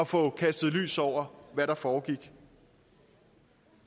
få kastet lys over hvad der foregik